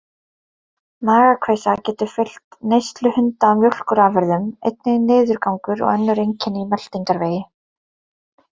Magakveisa getur fylgt neyslu hunda á mjólkurafurðum, einnig niðurgangur og önnur einkenni í meltingarvegi.